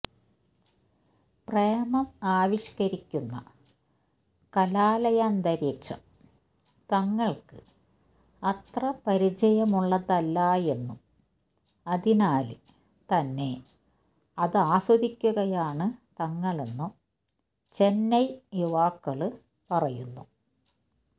പ്രേമം ആവിഷ്കരിക്കുന്ന കലാലയാന്തരീക്ഷം തങ്ങള്ക്ക് അത്ര പരിചയമുള്ളതല്ലായെന്നും അതിനാല് തന്നെ അതാസ്വദിക്കുകയാണ് തങ്ങളെന്നും ചെന്നൈ യുവാക്കള് പറയുന്നു